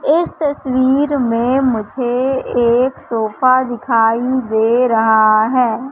इस तस्वीर में मुझे एक सोफ़ा दिखाई दे रहा है।